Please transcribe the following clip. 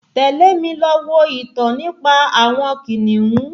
Tẹ̀lé mi lọ wo ìtàn nípa àwọn kìnìún